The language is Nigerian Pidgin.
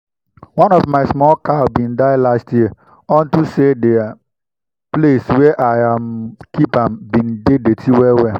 one of my small cow been die last year unto say the place wey i um keep am been dey dirty well well